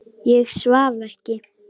Ég svaf ekki.